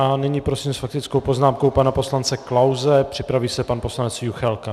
A nyní prosím s faktickou poznámkou pana poslance Klause, připraví se pan poslanec Juchelka.